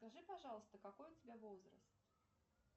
скажи пожалуйста какой у тебя возраст